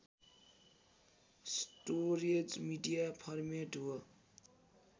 storage media format हो